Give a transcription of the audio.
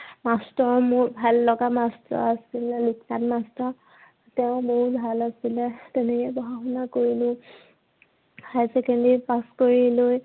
master মোৰ ভাল লগা master আছিলে লোকেন master তেওঁ বহুত ভাল আছিলে। তেনেকেই পঢ়া শুনা কৰিলো। higher secondary pass কৰি লৈ